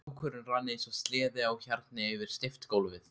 Dúkurinn rann eins og sleði á hjarni yfir steypt gólfið.